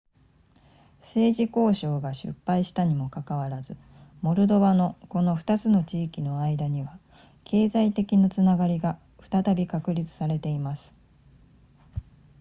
政治交渉が失敗したにもかかわらずモルドバのこの2つの地域の間には経済的なつながりが再び確立されています